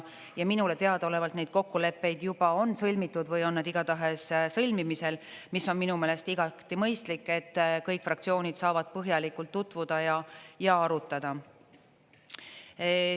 Ja minule teadaolevalt neid kokkuleppeid juba on sõlmitud või on nad igatahes sõlmimisel, mis on minu meelest igati mõistlik, et kõik fraktsioonid saavad põhjalikult tutvuda ja arutada.